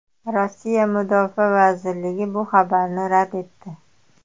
Rossiya Mudofaa vazirligi bu xabarni rad etdi.